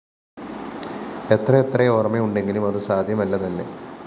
എത്രയെത്ര ഓര്‍മ്മയുണ്ടെങ്കിലും അതു സാധ്യമല്ലതന്നെ